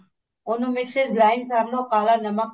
ਉਹਨੂੰ ਮਿਕਸੀ ਚ grind ਕਰਲੋ ਕਾਲਾ ਨਮਕ